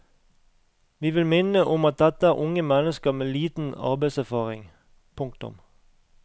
Vi vil minne om at dette er unge mennesker med liten arbeidserfaring. punktum